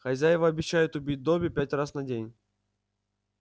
хозяева обещают убить добби пять раз на день